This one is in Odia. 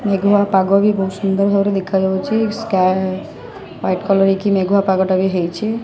ମେଘ୍ ଲା ପାଗ ବି ବହୁତ ସୁନ୍ଦର ଭାବରେ ଦେଖା ଯାଉଚି ସ୍କାଏ ୱାଇଟ୍ କଲର୍ ହେଇକି ମେଘୁଆ ପାଗଟା ବି ହେଇଚି ।